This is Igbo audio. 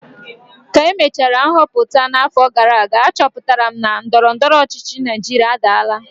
ka emechara nhọpụta n'afọ gara aga, achọpụtara m na ndọrọ ndọrọ ọchịchị Naijiria adaala